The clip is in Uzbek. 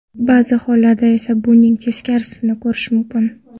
Ba’zi hollarda esa buning teskarisini ko‘rish mumkin.